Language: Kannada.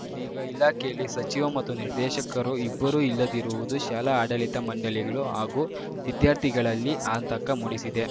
ಇದೀಗ ಇಲಾಖೆಯಲ್ಲಿ ಸಚಿವ ಮತ್ತು ನಿರ್ದೇಶಕರು ಇಬ್ಬರೂ ಇಲ್ಲದಿರುವುದು ಶಾಲಾ ಆಡಳಿತ ಮಂಡಳಿಗಳು ಹಾಗೂ ವಿದ್ಯಾರ್ಥಿಗಳಲ್ಲಿ ಆತಂಕ ಮೂಡಿಸಿದೆ